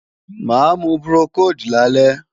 Máa mu Procold lálẹ́